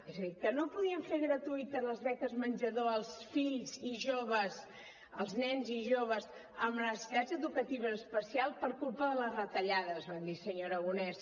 és a dir que no podien fer gratuïtes les beques menjador als fills i joves als nens i joves amb necessitats educatives especials per culpa de les retallades van dir senyor aragonès